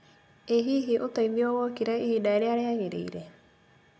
ĩ hihi ũteithio wokire ihinda rĩrĩa rĩagĩrĩire